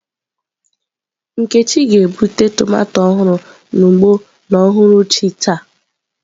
Nkechi ga-egbute tomato ọhụrụ n'ugbo n'uhuruchi taa.